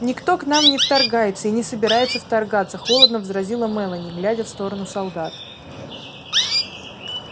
никто к нам не вторгается и не собирается вторгаться холодно возразила мелани глядя в сторону солдат